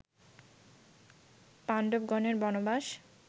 পান্ডবগণের বনবাস